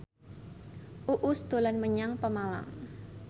Uus dolan menyang Pemalang